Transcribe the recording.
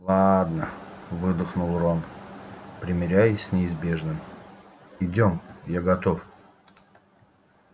ладно выдохнул рон примирясь с неизбежным идём я готов